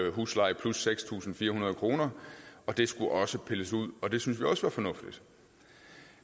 huslejen plus seks tusind fire hundrede kroner det skulle også pilles ud og det syntes vi også var fornuftigt